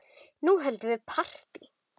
Nú höldum við partí!